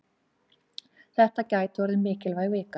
Þetta gæti orðið mikilvæg vika.